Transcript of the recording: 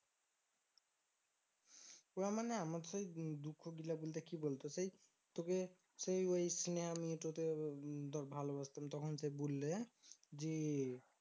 ওইয়া মানে আমার সেই দুঃখ গুলা বলে বলতে কি বলতো? সেই তোকে সেই ওই সিনহা মেয়েটোরে তোর ভালবাসতাম তখন সে বললে জি